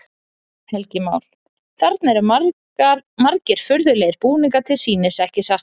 Helgi Már: Þarna eru margir furðulegir búningar til sýnis, ekki satt?